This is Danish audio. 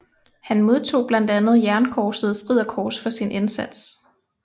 Han modtog blandt andet Jernkorsets Ridderkors for sin indsats